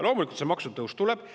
Loomulikult maksutõus tuleb.